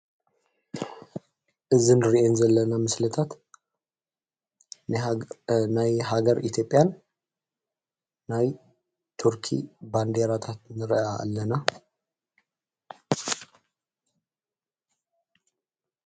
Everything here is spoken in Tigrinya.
እዝንርየን ዘለና ምስለታት ናይ ሃገር ኢትዮጲያን ናይ ቱርኪ ባንዲራታት ንርአ ኣለና።